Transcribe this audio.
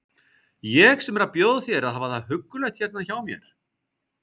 Ég sem er að bjóða þér að hafa það huggulegt hérna hjá mér!